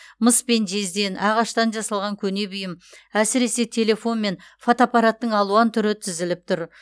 мыс пен жезден ағаштан жасалған көне бұйым әсіресе телефон мен фотоаппараттың алуан түрі тізіліп тұр